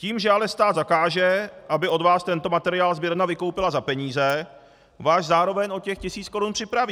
Tím, že ale stát zakáže, aby od vás tento materiál sběrna vykoupila za peníze, vás zároveň o těch tisíc korun připraví!